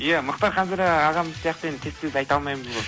иә мұхтар ханзада ағамыз сияқты енді тез тез айта алмаймыз ғой